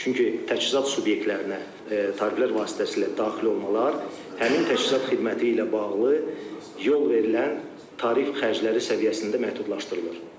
Çünki təchizat subyektlərinə tariflər vasitəsilə daxil olmalar həmin təchizat xidməti ilə bağlı yol verilən tarif xərcləri səviyyəsində məhdudlaşdırılır.